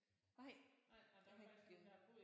Nej jeg har ikke æh